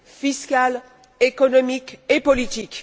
fiscale, économique et politique.